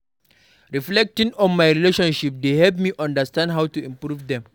Reflecting on my relationships dey help me understand how to improve dem.